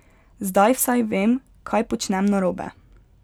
Zdaj vsaj vem, kaj počnem narobe.